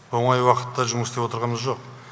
оңай уақытта жұмыс істеп отырғамыз жоқ